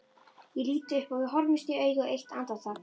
Ég lít upp og við horfumst í augu eitt andartak.